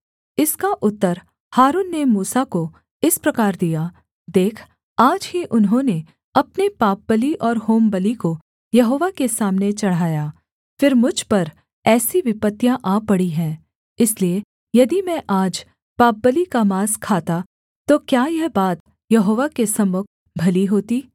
इसका उत्तर हारून ने मूसा को इस प्रकार दिया देख आज ही उन्होंने अपने पापबलि और होमबलि को यहोवा के सामने चढ़ाया फिर मुझ पर ऐसी विपत्तियाँ आ पड़ी हैं इसलिए यदि मैं आज पापबलि का माँस खाता तो क्या यह बात यहोवा के सम्मुख भली होती